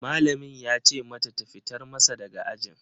Malamin ya ce mata ta fitar masa daga ajin